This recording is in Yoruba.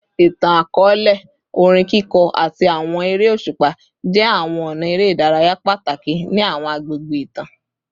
Itan-akọọlẹ, orin kiko, ati awọn ere oṣupa jẹ awọn ọna ere idaraya pataki ni awọn agbegbe itan